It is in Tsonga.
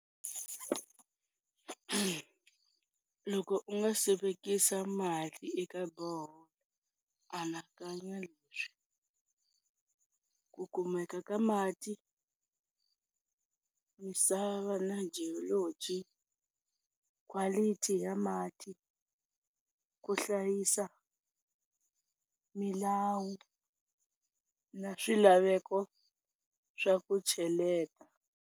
Loko u nga si vekisa mali eka borehole anakanya leswi, ku kumeka ka mati, misava na geology, quality ya mati, ku hlayisa milawu na swilaveko swa ku cheleta.